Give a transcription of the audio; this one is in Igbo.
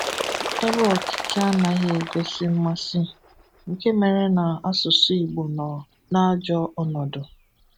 ebe ọtụtụ anaghị egosị mmasị; nke mere na asụsụ Igbo nọ n’ajọ ọ́nọdù